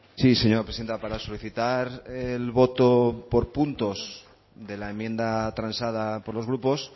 sí señora presidenta para solicitar el voto por puntos de la enmienda transada por los grupos